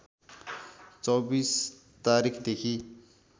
२४ तारिखदेखि